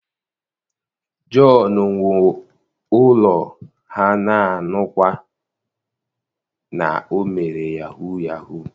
john wuo ulo ha na anukwa na o mere yahoo yahoo.